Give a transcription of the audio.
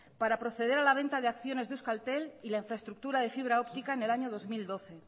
para proceder a la venta de acciones de euskaltel y la infraestructura de fibra óptica en el año dos mil doce